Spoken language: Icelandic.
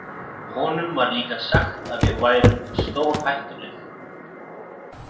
Honum var líka sagt að við værum stórhættuleg.